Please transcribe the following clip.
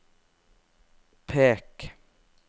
pek